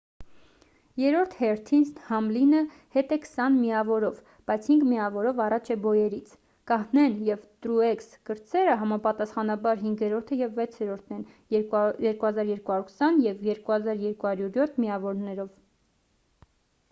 երրորդ հերթին համլինը հետ է քսան միավորով բայց հինգ միավորով առաջ է բոյերից կահնեն և տրուեքս կրտսերը համապատասխանաբար հինգերորդը և վեցերորդն են 2,220 և 2,207 միավորներով